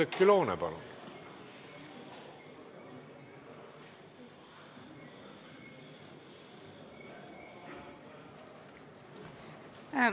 Oudekki Loone, palun!